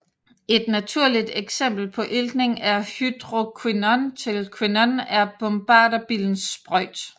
Et naturligt eksempel på iltning af hydroquinon til quinon er bombarderbillens sprøjt